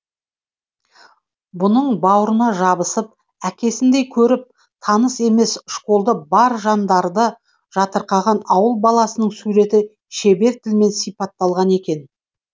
бұның бауырына жабысып әкесіндей көріп таныс емес школды бар жандарды жатырқаған ауыл баласының суреті шебер тілмен сипатталған екен